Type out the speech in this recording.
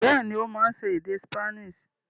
Bẹ́ẹ̀ni, ó máa ń sọ èdè Spanish.